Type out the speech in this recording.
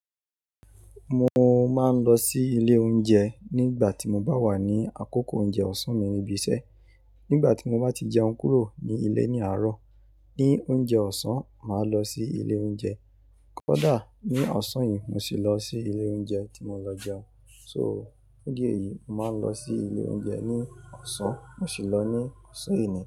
Mo máa ń lọ sí ilé oúnjẹ nígbà tí mo bá wà ní àkókò oúnjẹ ọ̀sán mi níbi iṣẹ́. Nígbà tí mo bá ti jẹun kúrò ní ilé ní àárọ̀, ní oúnjẹ ọ̀sán, màá lọ sí ilé oúnjẹ. Kódà ní ọ̀sán yìí mo ṣì lọ sí ilé oúnjẹ tí mo lọ jẹun. So, fún idi èyí, mo máa ń lọ sí ilé oúnjẹ ní ọ̀sán, mo ṣì lọ ní ọ̀sán èní.